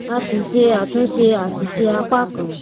a ṣíṣe àtúnṣe àṣìṣe apá kan